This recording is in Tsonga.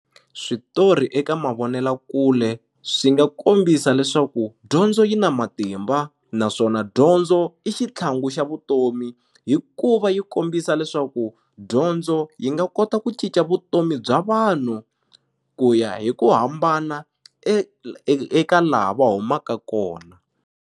Switori eka mavonelakule swi nga kombisa leswaku dyondzo yi na matimba naswona dyondzo i xitlhangu xa vutomi hikuva yi kombisa leswaku dyondzo yi nga kota ku cinca vutomi bya vanhu ku ya hi ku hambana eka la va humaka kona.